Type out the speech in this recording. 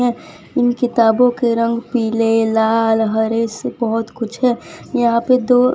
इन किताबों के रंग पीले लाल हरे से बहोत कुछ है यहां पे तो --